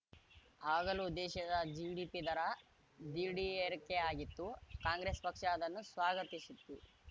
ಆಗಲೂ ದೇಶದ ಜಿಡಿಪಿ ದರ ದಿ ಢೀರ್‌ರಿಕೆಯಾಗಿತ್ತು ಕಾಂಗ್ರೆಸ್‌ ಪಕ್ಷ ಅದನ್ನು ಸ್ವಾಗತಿಸಿತ್ತು